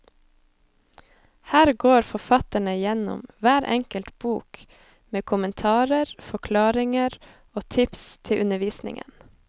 Her går forfatterne gjennom hver enkelt bok med kommentarer, forklaringer og tips til undervisningen.